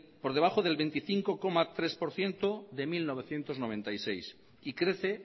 por debajo del veinticinco coma tres por ciento de mil novecientos noventa y seis y crece